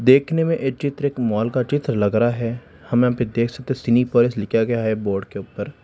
देखने में ये चित्र एक मॉल का चित्र लग रहा है हम यहा पे देख सकते सिनेपॉलिश लिखा गया है बोर्ड के ऊपर।